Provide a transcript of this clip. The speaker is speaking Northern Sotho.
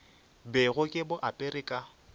bego ke bo apere ka